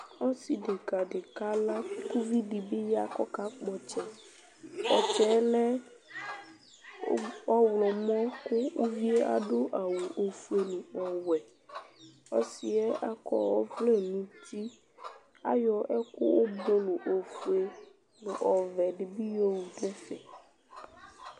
Ɔsivi di kala ku uvidi kakpɔ ɔtsɛ ɔtsɛ lɛ ɔɣlɔmɔ ku uvie adu awu ofue nu ɔwɛ ɔsiɛ akɔ ɔvlɛ nuti ayɔ ɛku ofue nu ɔwɛ dibi yowu nɛfɛ